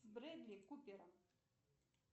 брэдли купер